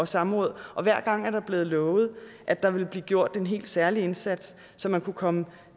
samråd og hver gang er det blevet lovet at der ville blive gjort en helt særlig indsats så man kunne komme